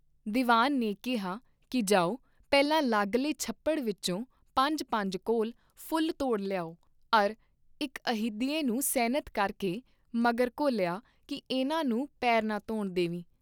ਦੀਵਾਨ ਨੇ ਕਿਹਾ ਕੀ ਜਾਓ ਪਹਿਲਾਂ ਲਾਗਲੇ ਛੱਪੜ ਵਿਚੋਂ ਪੰਜ ਪੰਜ ਕੌਲ ਫੁਲ ਤੋੜ ਲਿਆਓ ਅਰ ਇਕ ਅਹਿਦੀਏ ਨੂੰ ਸੈਨਤ ਕਰਕੇ ਮਗਰ ਘੋਲਿਆ ਕੀ ਇਨ੍ਹਾਂ ਨੂੰ ਪੇਰ ਨਾ ਧੋਣ ਦੇ ਵੀ।